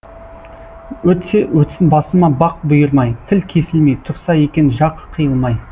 өтсе өтсін басыма бақ бұйырмай тіл кесілмей тұрса екен жақ қиылмай